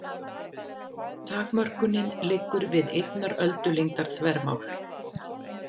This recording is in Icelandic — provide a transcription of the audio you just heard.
Takmörkunin liggur við einnar öldulengdar þvermál.